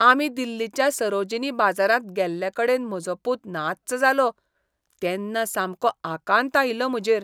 आमी दिल्लीच्या सरोजिनी बाजारांत गेल्लेकडेन म्हजो पूत नाच्च जालो तेन्ना सामको आकांत आयिल्लो म्हजेर.